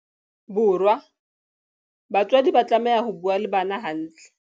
Bo rwa, batswadi ba tlameha ho bua le bana hantle.